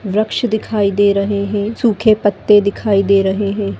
वृक्ष्य दिखाई दे रहे है सूखे पत्ते दिखाई दे रहे है।